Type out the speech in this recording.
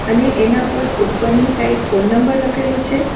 અને એના પર ઉપરની સાઈડ ફોન નંબર લખેલું છે.